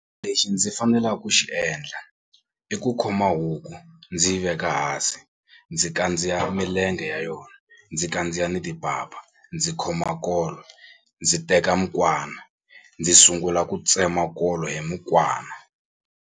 Lexi ndzi fanela ku xi endla i ku khoma huku ndzi yi veka hansi ndzi kandziya milenge ya yona ndzi kandziya ni timpapa ndzi khoma nkolo ndzi teka mukwana ndzi sungula ku tsema nkolo hi mukwana.